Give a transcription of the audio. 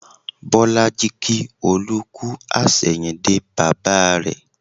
Bolaji kí Olú kú àsẹ̀yìndè bàbà rẹ